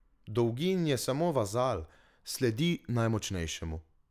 Dolgin je samo vazal, sledi najmočnejšemu.